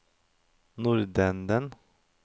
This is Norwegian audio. nordenden